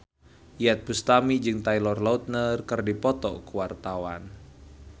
Iyeth Bustami jeung Taylor Lautner keur dipoto ku wartawan